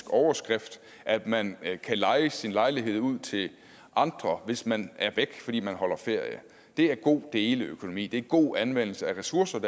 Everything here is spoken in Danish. overskrift at man kan leje sin lejlighed ud til andre hvis man er væk fordi man holder ferie det er god deleøkonomi og det er god anvendelse af ressourcer